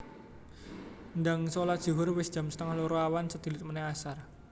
Ndang solat zuhur wis jam setengah loro awan sedilut meneh asar